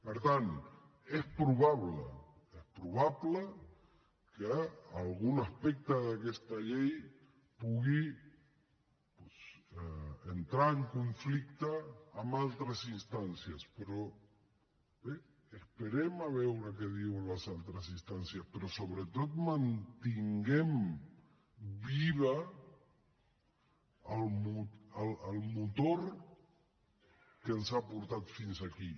per tant és probable és probable que algun aspecte d’aquesta llei pugui doncs entrar en conflicte amb altres instàncies però bé esperem a veure què diuen les altres instàncies però sobretot mantinguem viu el motor que ens ha portat fins aquí